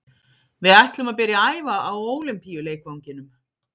Við ætlum að byrja að æfa á Ólympíuleikvanginum.